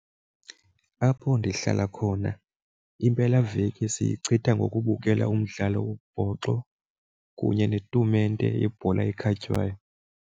Apho ndihlala khona impelaveki siyichitha ngokubukela umdlalo wombhoxo kunye netumente yebhola ekhatywayo.